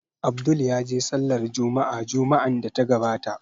Abdul ya je Sallar Jumma'a Juma'an da ta gabata